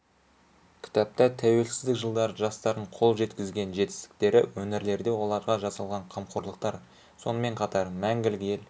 кітапта тәуелсіздік жылдары жастардың қол жеткізген жетістіктері өңірлерде оларға жасалған қамқорлықтар сонымен қатар мәңгілік ел